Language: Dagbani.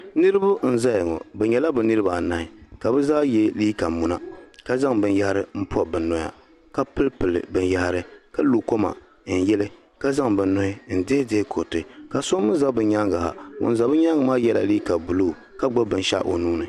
Niriba n zaya ŋɔ bɛ nyɛla bɛ niriba anahi ka bɛ zaa ye liiga munaka zaŋ binyahiri pobi bɛ noya ka pili pili binyahari ka lo koma n yili ka zaŋ bɛ nuhi n dihi dihi kuriti ka so mee za bɛ nyaanga ha ŋun za bɛ nyaanga maa yela liiga buluu ka gbibi binshaɣu o nuuni.